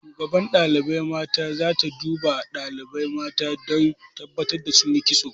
Shugaban ɗalibai mata za ta duba ɗalibai mata don tabbatar da sun yi kitso.